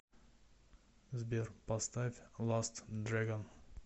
сбер поставь ласт дрэгон